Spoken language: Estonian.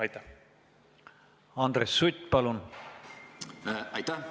Aitäh!